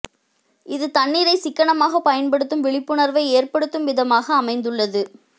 இது தண்ணீரை சிக்கனமாக பயன்படுத்தும் விழிப்புணர்வை ஏற்படுத்தும் விதமாக அமைந்துள்ளது